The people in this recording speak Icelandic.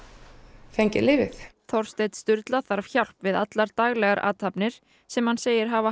fengið lyfið Þorsteinn Sturla þarf hjálp við allar daglegar athafnir sem hann segir hafa